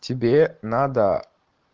тебе надо